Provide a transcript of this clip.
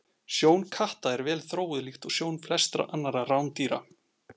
Sjón katta er vel þróuð líkt og sjón flestra annarra rándýra.